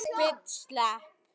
Eða nei, ekki allir!